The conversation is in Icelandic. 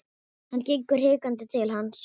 Hann gengur hikandi til hans.